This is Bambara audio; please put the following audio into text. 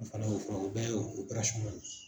O fana y'o fura o bɛɛ y'o